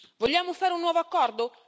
Vogliamo fare un nuovo accordo?